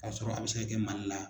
K'a sɔrɔ a bɛ se ka kɛ Mali la.